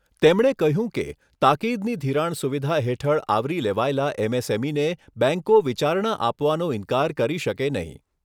તેમણે કહ્યું કે, તાકીદની ધિરાણ સુવિધા હેઠળ આવરી લેવાયેલા એમએસએમઈને બેંકો વિચારણા આપવાનો ઇન્કાર કરી શકે નહીં.